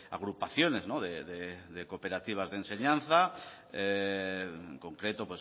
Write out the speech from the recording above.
agrupaciones de cooperativas de enseñanza en concreto